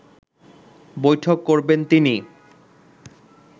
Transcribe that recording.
বৈঠক করবেন তিনি